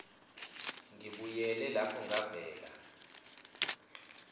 ngibuyele lapho ngavela